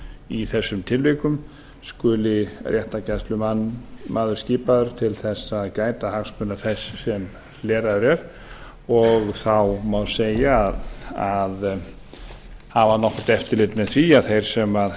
í þessum tilvikum skuli réttargæslumaður skipaður til að gæta hagsmuna þess sem hleraður er og þá má segja að hafa nokkurt eftirlit með því að þeir sem